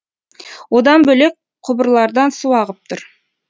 одан бөлек құбырлардан су ағып тұр